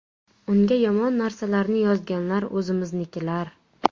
Unga yomon narsalarni yozganlar o‘zimiznikilar.